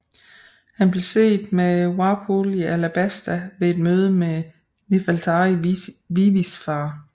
Han blev set med Wapol i Alabasta ved et møde med Nefeltari Vivis far